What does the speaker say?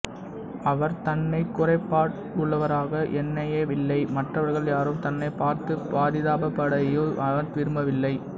அவர் தன்னைக் குறைபாடுள்ளவராக எண்ணவேயில்லை மற்றவர்கள் யாரும் தன்னைப் பார்த்துப் பரிதாபப்படுவதையும் அவர் விரும்பவில்லை